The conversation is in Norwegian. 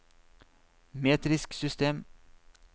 metrisk system